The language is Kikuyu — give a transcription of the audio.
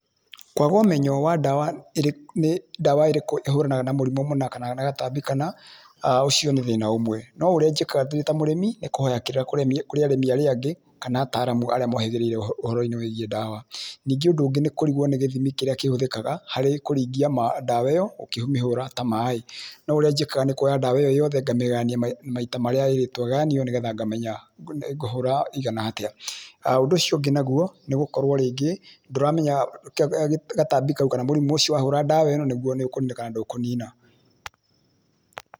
Kwaga ũmenyo wa nĩ ndawa ĩrĩkũ ĩhũranaga na mũrimũ mũna kana gatambi kana ũcio nĩ thĩna ũmwe. No ũrĩa njĩkaga ndĩ ta mũrĩmi nĩ kũhoya kĩrĩra kũrĩ arĩmi arĩa angĩ kana ataramu arĩa mũhĩgĩrĩire ũhoro inĩ wĩgiĩ ndawa. Ningĩ ũndũ ũngĩ nĩ kũrigwo nĩ gĩthimi kĩrĩa kĩhũthĩkaga harĩ kũringia dawa ĩyo ũkĩmĩhũra ta maĩ. No ũrĩa njĩkaga nĩkuoya ndawa ĩyo yothe ngamĩgayania maita marĩa ĩrĩtwo ĩgayanio nĩgetha ngamenya ngũhũra ĩigana-atĩa. Ũndũ ũcio ũngĩ naguo nĩ gũkorwo rĩngĩ ndũramenya gatambi kau kana mũrimũ ũcio wahũra ndawa ĩno nĩ kũnina kana ndĩkũnina.